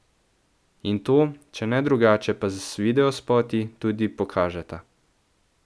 In to, če ne drugače pa z videospoti, tudi pokažeta.